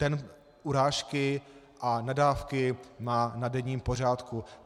Ten urážky a nadávky má na denním pořádku.